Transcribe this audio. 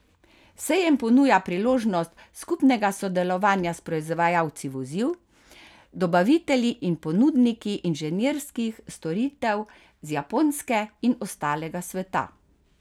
Sejem ponuja priložnost skupnega sodelovanja s proizvajalci vozil, dobavitelji in ponudniki inženirskih storitev z Japonske in ostalega sveta.